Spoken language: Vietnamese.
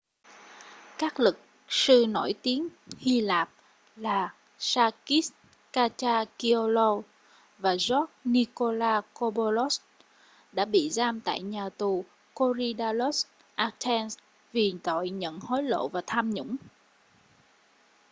các luật sư nổi tiếng hy lạp là sakis kechagioglou và george nikolakopoulos đã bị giam tại nhà tù korydallus athens vì tội nhận hối lộ và tham nhũng